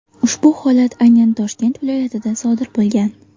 Ushbu holat aynan Toshkent viloyatida sodir bo‘lgan.